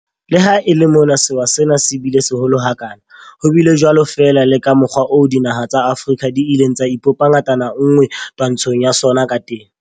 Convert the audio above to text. Le ha e le mona sewa sena se bile seholo ha kana, ho bile jwalo fela le ka mokgwa oo dinaha tsa Afrika di ileng tsa ipopa ngatana nngwe twantshong ya sona ka teng.